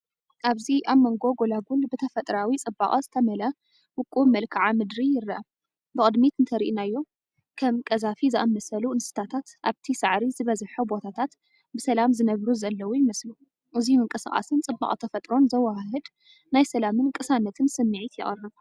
ኣብዚ ኣብ መንጎ ጎላጉል ብተፈጥሮኣዊ ጽባቐ ዝተመልአ ውቁብ መልክዓ ምድሪ ይርአ። ብቕድሚት እንተርኢናዮ፡ ከም ቀዛፊ ዝኣመሰሉ እንስሳታት ኣብቲ ሳዕሪ ዝበዝሖ ቦታታት ብሰላም ዝነብሩ ዘለዉ ይመስሉ። እዙይ ምንቅስቓስን ጽባቐ ተፈጥሮን ዘወሃህድ ናይ ሰላምን ቅሳነትን ስምዒት የቕርብ።